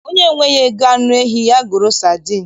Onye enweghị ego anụ ehi, ya goro sadin